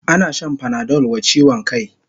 Ana shan panadol wa chiwon kai